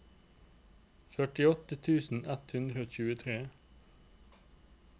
førtiåtte tusen ett hundre og tjuetre